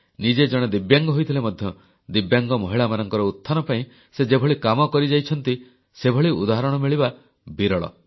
ନିଜେ ଜଣେ ଦିବ୍ୟାଙ୍ଗ ହୋଇଥିଲେ ମଧ୍ୟ ଦିବ୍ୟାଙ୍ଗ ମହିଳାମାନଙ୍କର ଉତ୍ଥାନ ପାଇଁ ସେ ଯେଭଳି କାମ କରିଯାଇଛନ୍ତି ସେଭଳି ଉଦାହରଣ ମିଳିବା ବିରଳ